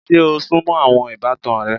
Ṣe o súnmọ́ àwọn ìbátan rẹ?